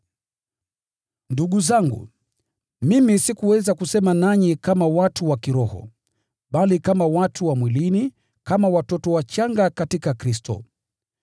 Ndugu zangu, mimi sikuweza kusema nanyi kama watu wa kiroho, bali kama watu wa mwilini, kama watoto wachanga katika Kristo.